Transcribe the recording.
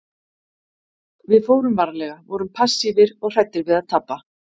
Við fórum varlega, vorum passífir og hræddir við að tapa.